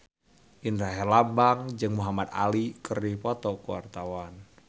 Indra Herlambang jeung Muhamad Ali keur dipoto ku wartawan